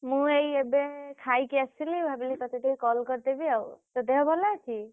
ମୁଁ ଏଇ ଏବେ ଖାଇକି ଆସିଲି ଭାବିଲି ତତେ ଟିକେ call କରିଦେବି ଆଉ ତୋ ଦେହ ଭଲ ଅଛି?